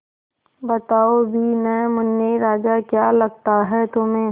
बताओ भी न मुन्ने राजा क्या लगता है तुम्हें